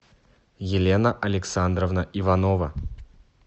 елена александровна иванова